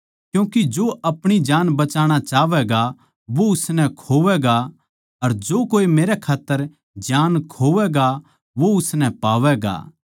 क्यूँके जो अपणी जान बचाणा चाहवैगा वो उसनै खोवैगा अर जो कोए मेरै खात्तर जान खोवैगा वो उसनै पावैगा